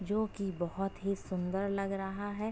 जो कि बोहोत ही सुंदर लग रहा है।